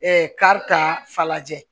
kari ka fa lajɛ